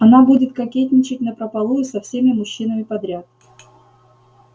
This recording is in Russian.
она будет кокетничать напропалую со всеми мужчинами подряд